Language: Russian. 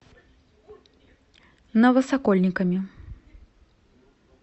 новосокольниками